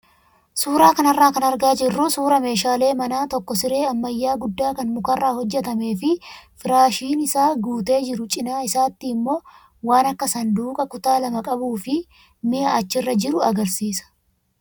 Suuraa kanarraa kan argaa jirru suuraa meeshaalee manaa tokko siree ammayyaa guddaa kan mukarraa hojjatamee fi firaashiin isaa guutee jiru cinaa isaatti immoo waan akka saanduqaa kutaa lama qabuu fi mi'a achirra jiru agarsiisa.